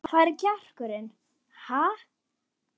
Hvar er kjarkurinn, ha?